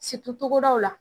togodaw la.